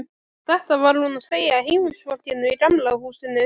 Þetta var hún að segja heimilisfólkinu í Gamla húsinu.